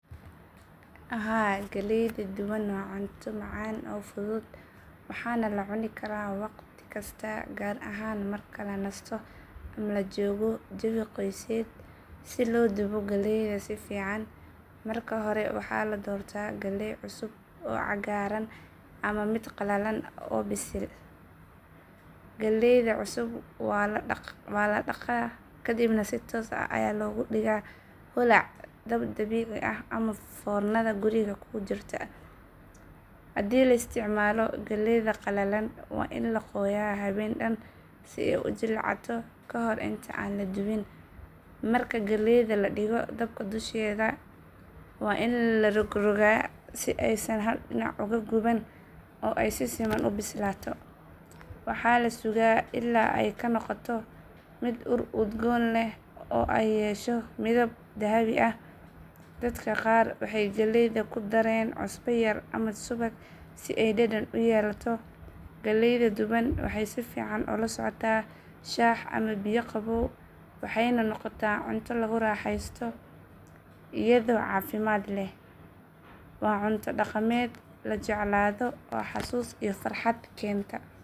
Haa galleyda duban waa cunto macaan oo fudud waxaana la cuni karaa wakhti kasta gaar ahaan marka la nasto ama la joogo jawi qoyseed. Si loo dubo galleyda si fiican marka hore waxaa la doortaa galley cusub oo cagaaran ama mid qalalan oo bisil. Galleyda cusub waa la dhaqaa kadibna si toos ah ayaa loogu dhigaa holac dab dabiici ah ama foornadan guriga ku jirta. Haddii la isticmaalo galley qalalan waa in la qooyaa habeen dhan si ay u jilcato ka hor inta aan la dubin. Marka galleyda la dhigo dabka dusheeda waa in la rogrogtaa si aysan hal dhinac u guban oo ay si siman u bislaato. Waxaa la sugaa ilaa ay ka noqoto mid ur udgoon leh oo ay yeesho midab dahabi ah. Dadka qaar waxay galleyda ku dareen cusbo yar ama subag si ay dhadhan u yeelato. Galleyda duban waxay si fiican ula socotaa shaah ama biyo qabow waxayna noqotaa cunto lagu raaxeysto iyadoo caafimaad leh. Waa cunto dhaqameed la jeclaado oo xasuus iyo farxad keenta.